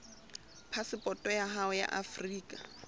phasepoto ya hao ya afrika